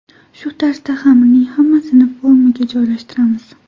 Shu tarzda xamirning hammasini formaga joylashtiramiz.